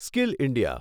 skill India